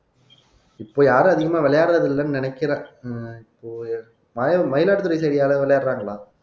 இப்ப யாரும் அதிகமா விளையாடுறதில்லைன்னு நினைக்கிறேன் உம் இப்போ மயிலாடுதுறை side யாராவது விளையாடுறாங்களா